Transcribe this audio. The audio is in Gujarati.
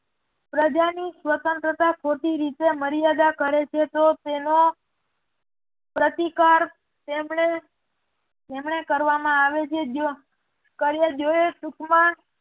પ્રજાની સ્વતંત્રતા ખોટી રીતે મર્યાદા કરે છે તો તેનો પ્રતિકાર તેમણે કરવામાં આવે છે જો